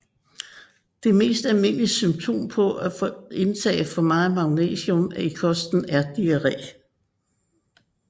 Det mest almindelige symptom på for stort indtag af magnesium i kosten er diarré